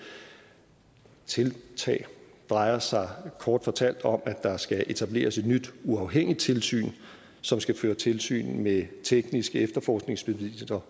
tiltag drejer sig kort fortalt om at der skal etableres et nyt uafhængigt tilsyn som skal føre tilsyn med tekniske efterforskningsmidler